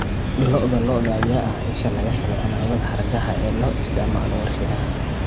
Lo'da lo'da ayaa ah isha laga helo alaabada hargaha ee loo isticmaalo warshadaha.